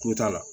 Kun t'a la